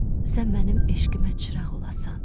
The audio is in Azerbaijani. sən mənim eşqimə çıraq olasan.